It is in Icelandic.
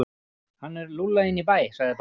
Hann er lúlla inn í bæ, sagði barnið.